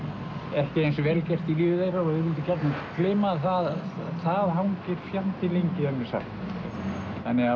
ekki eins vel gert í lífi þeirra og þeir vildu gjarnan gleyma það hangir fjandi lengi er mér sagt þannig að